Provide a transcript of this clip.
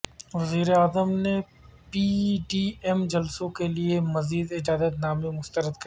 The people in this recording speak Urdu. وزیراعظم نے پی ڈی ایم جلسوں کیلئے مزید اجازت نامے مسترد کردیے